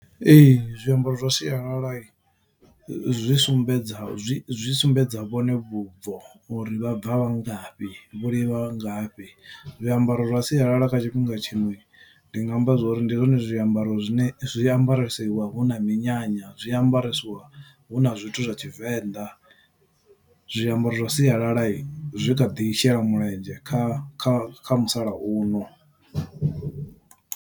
Ee zwiambaro zwa sialala zwi sumbedza zwi zwi sumbedza vhone vhubvo uri vha bva ngafhi vho livha ngafhi zwiambaro zwa sialala kha tshifhinga tshino ndi nga amba zwori ndi zwone zwiambaro zwine zwiambaresiwa hu na minyanya zwiambaresiwa hu na zwithu zwa Tshivenḓa zwiambaro zwa sialala zwi kha ḓi shela mulenzhe kha kha kha musalauno.